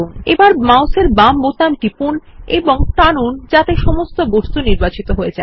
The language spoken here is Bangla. এখন বাম মাউসের বোতাম টিপুন এবং টানুন যাতে সমস্ত বস্তু নির্বাচিত হয়ে যায়